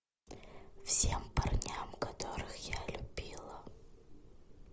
всем парням которых я любила